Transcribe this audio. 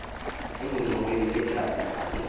engxoweni yedyasi vakhe